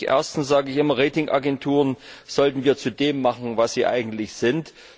Erstens sage ich immer, Ratingagenturen sollten wir zu dem machen, was sie eigentlich sind.